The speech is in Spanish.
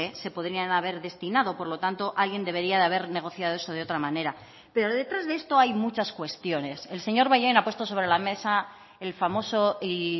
se podrían haber destinado por lo tanto alguien debería de haber negociado eso de otra manera pero detrás de esto hay muchas cuestiones el señor bollain ha puesto sobre la mesa el famoso y